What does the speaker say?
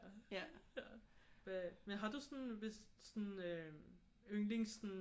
Hvad men har du sådan hvis sådan øh yndlings sådan